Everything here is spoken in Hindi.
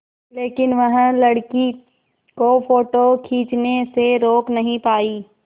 लेकिन वह लड़की को फ़ोटो खींचने से रोक नहीं पाई